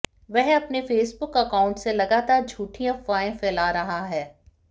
वह अपने Facebook account से लगातार झूठी अफवाहें फैला रहा है